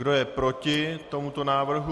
Kdo je proti tomuto návrhu?